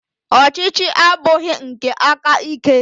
Ọchịchị abụghị nke aka ike.